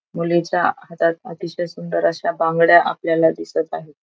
मुलीच्या हातात अतिशय सुंदर अशा बांगड्या आपल्याला दिसत आहेत.